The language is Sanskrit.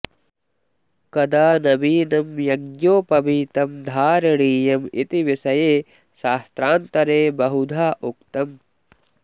कदा नवीनं यज्ञोपवीतं धारणीयमिति विषये शास्त्रान्तरे बहुधा उक्तम्